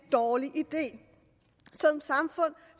dårlig idé